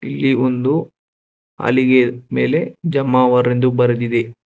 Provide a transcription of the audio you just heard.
ಇಲ್ಲಿ ಒಂದು ಹಲಿಗೆಯ ಮೇಲೆ ಜಮಾವರ್ ಎಂದು ಬರೆದಿದೆ.